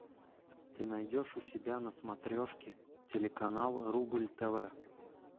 ты найдешь у себя на смотрешке телеканал рубль тв